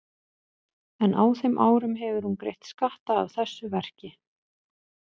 En á þeim árum hefur hún greitt skatta af þessu verki.